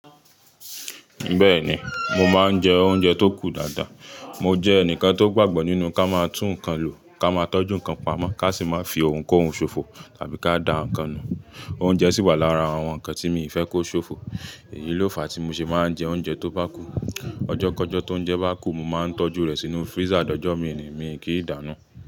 Bẹ́ẹ̀ni, mo máa ń jẹ oúnjẹ tó kù dáadáa. Mo jẹ́ ẹnìkan tó gbàgbọ́ nínú ká máa tún nǹkan lò, ká máa tọ́jú nǹkan pamọ́, ká sì má fi ohun kó ohun ṣofo tàbí ká dà nǹkan nù. Oúnjẹ sì wà lára àwọn nǹkan tí mi i fẹ́ kó ṣofo. Èyí ló fàá tí mo ṣe máa ń jẹ oúnjẹ tó bá kù. Ọjọ́ kọ́jọ́ tó ń jẹ́ bá kù, mo máa ń tọ́jú rẹ̀ sínú freezer, dọjọ́ mi ni mi kì í dànù.